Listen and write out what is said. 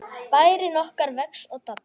Bærinn okkar vex og dafnar.